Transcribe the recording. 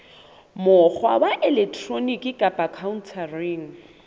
mokgwa wa elektroniki kapa khaontareng